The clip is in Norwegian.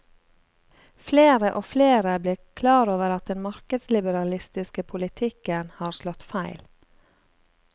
Flere og flere blir klar over at den markedsliberalistiske politikken har slått feil.